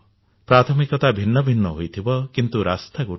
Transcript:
ପ୍ରାଥମିକତା ଭିନ୍ନ ଭିନ୍ନ ହୋଇଥିବ କିନ୍ତୁ ରାସ୍ତା ଗୋଟିଏ